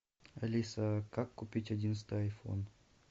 алиса как купить одиннадцатый айфон